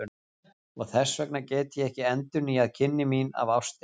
Og þess vegna get ég ekki endurnýjað kynni mín af ástinni.